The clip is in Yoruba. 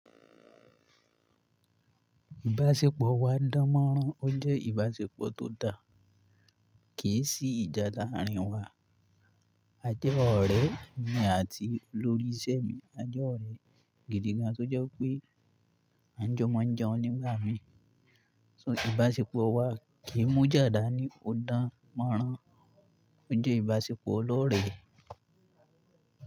Ìbáṣepọ̀ wa dánmọ́nrán. O jẹ́ ìbáṣepọ̀ tó dáa kì í sí ìjà láàárín wa. A jẹ́ ọ̀rẹ́ mi àti lóríṣẹ́ mi, a jẹ́ ọ̀rẹ́ gidi gan-an tí ó jẹ́ pé a jọ mọ̀ọ́njẹun onígbámí. So ìbáṣepọ̀ wa kì í mú jáda ni, o dánmọ́nrán. O jẹ́ ìbáṣepọ̀ ọlọ́rẹ́.